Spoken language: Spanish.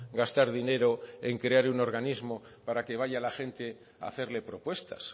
gastar dinero en crear un organismo para que vaya la gente a hacerle propuestas